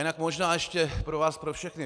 Jinak možná ještě pro vás pro všechny.